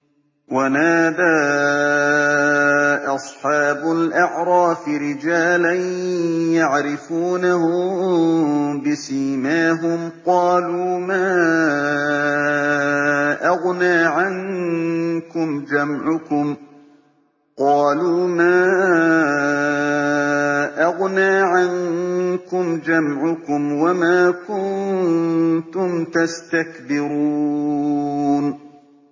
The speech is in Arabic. وَنَادَىٰ أَصْحَابُ الْأَعْرَافِ رِجَالًا يَعْرِفُونَهُم بِسِيمَاهُمْ قَالُوا مَا أَغْنَىٰ عَنكُمْ جَمْعُكُمْ وَمَا كُنتُمْ تَسْتَكْبِرُونَ